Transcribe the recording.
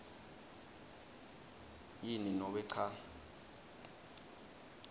yini nobe cha